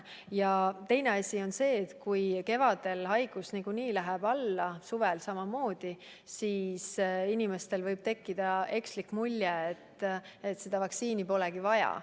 Ja teine probleem on see, et kui kevadel ja suvel haigus niikuinii läheb alla, siis inimestel võib tekkida ekslik mulje, et vaktsineerida polegi vaja.